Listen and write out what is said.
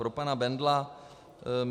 Pro pana Bendla.